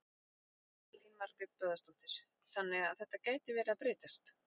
Elín Margrét Böðvarsdóttir: Þannig að þetta gæti verið að breytast?